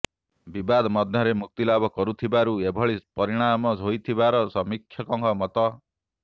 ବିବାଦ ମଧ୍ୟରେ ମୁକ୍ତିଲାଭ କରିଥିବାରୁ ଏଭଳି ପରିଣାମ ହୋଇଥିବାର ସମୀକ୍ଷକଙ୍କ ମତ